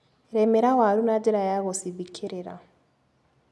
Rĩmĩra waru na njĩra ya gũcithikĩrĩra.